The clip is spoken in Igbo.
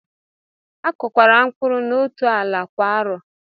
Akọkwala mkpụrụ n'otú ala kwa arọ!